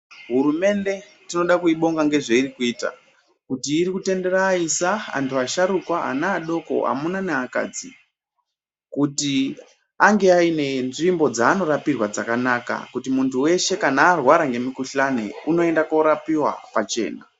Hurumende tinoda kuibonga ngezveiri kuita kuti iri kutendera aisa asharuka ana adoko amuna neakadzi kuti ange aine nzvimbo dzaanorapirwa dzakanaka kuti munthu weshe kana arwara ngemukuhlani unoenda koorqpiwa pachena.